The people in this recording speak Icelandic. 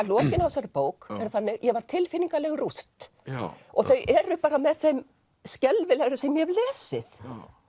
lokin á þessari bók eru þannig að ég var tilfinningaleg rúst og þau eru bara með þeim skelfilegri sem ég hef lesið